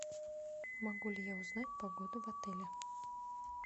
могу ли я узнать погоду в отеле